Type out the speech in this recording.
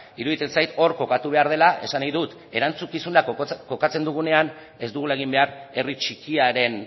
iruditzen zait hor kokatu behar dela esan nahi dut erantzukizuna kokatzen dugunean ez dugula egin behar herri txikiaren